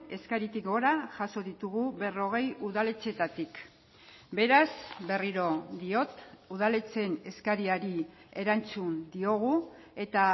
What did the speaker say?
eskaritik gora jaso ditugu berrogei udaletxeetatik beraz berriro diot udaletxeen eskariari erantzun diogu eta